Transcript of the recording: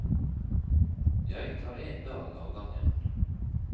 Jeg tar en dag av gangen.